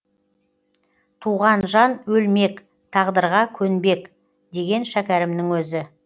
туған жан өлмек тағдырға көнбек деген шәкәрімнің өзі